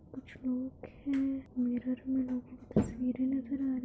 कुछ लोग है मिरर में लोगों की तस्वीरें नजर आ रही है।